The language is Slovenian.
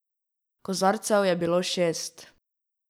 Kozarcev je bilo šest.